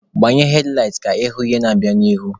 Gbanye hedlaịt ka ịhụ ihe na-abịa n'ihu!